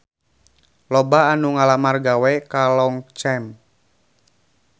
Loba anu ngalamar gawe ka Longchamp